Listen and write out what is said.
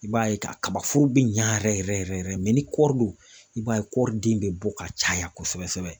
I b'a ye kabaforo bɛ ɲa yɛrɛ yɛrɛ yɛrɛ yɛrɛ yɛrɛ ni kɔri don, i b'a ye kɔriden bɛ bɔ ka caya kosɛbɛ kosɛbɛ